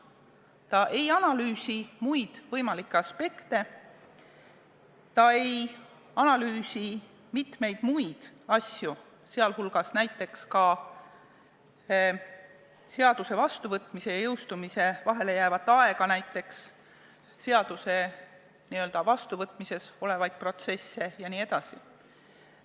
Ta ei analüüsi muid võimalikke aspekte, ta ei analüüsi mitmeid muid asju, sh seaduse vastuvõtmise ja jõustamise vahele jäävat aega, seaduse vastuvõtmisega seotud protsesse jne.